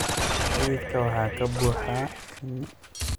Xididka waxaa ka buuxa shinni.